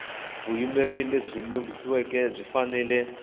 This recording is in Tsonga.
vuyimeri lebyi langhiweke byi fanele